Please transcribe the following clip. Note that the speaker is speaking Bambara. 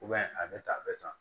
a bɛ tan a bɛ tan